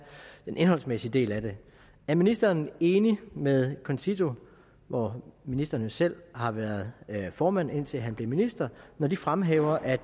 den indholdsmæssige del af det er ministeren enig med concito hvor ministeren jo selv har været formand indtil han blev minister når de fremhæver at